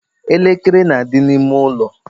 elekere na-adị n'ime ụlọ.